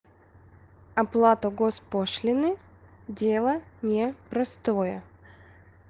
оплата госпошлины дело непростое